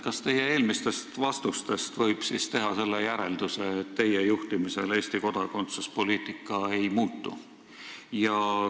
Kas teie eelmistest vastustest võib teha järelduse, et teie juhtimisel Eesti kodakondsuspoliitika ei muutu?